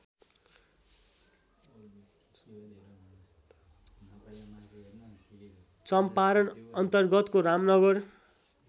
चम्पारन अन्तर्गतको रामनगर